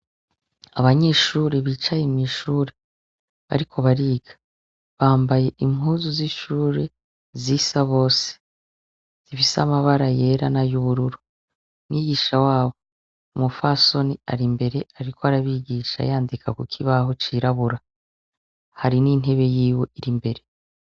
Abanyeshure bicaye mwishure, bariko bariga . Bambaye impuzu z’ishure zisa bose . Zifise amabara yera nay’ubururu. Umwigisha wabo, umupfasoni arimbere ariko arabigisha yandika kukibaho cirabura. Hari n’intebe yiwe irimbere.